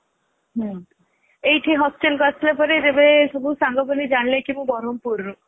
ହୁଁ ଏଇଠି hostelକୁ ଆସିବା ପରେ ଯେବେ ସାଙ୍ଗ ପିଲା ଜାଣିଲେ କି ମୁଁ ବରମପୁରର